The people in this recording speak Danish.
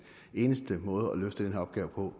eneste måde at løfte den her opgave på